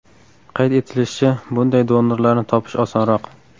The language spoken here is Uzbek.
Qayd etilishicha, bunday donorlarni topish osonroq.